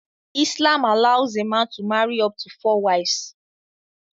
Islam allows a man to marry up to four wives